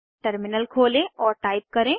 terminal खोलें और type करें